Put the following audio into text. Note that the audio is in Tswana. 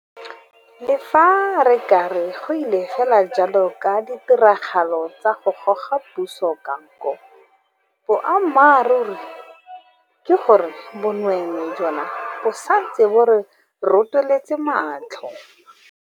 Le fa re ka re go ile fela jalo ka ditiragalo tsa go goga puso ka nko, boammaruri ke gore bonweenwee jona bo santse bo re rotoletse matlho.